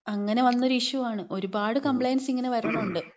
അങ്ങനെ വന്നൊരു ഇഷ്യു ആണ്. ഒരുപാട് കംപ്ലൈൻസ് ഇങ്ങനെ വരുണുണ്ട്.